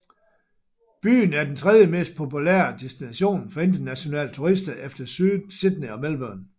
Byen er den tredjemest populære destination for internationale turister efter Sydney og Melbourne